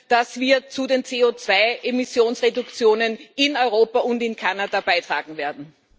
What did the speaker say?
dass wir zu den CO2 Emissionsreduktionen in Europa und in Kanada beitragen werden?